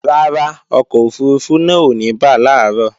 Rárá, ọkọ̀ òfurufú náà ò ní bà làárọ̀